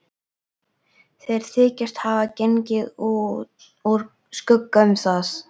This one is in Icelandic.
Þeir þykjast hafa gengið úr skugga um það.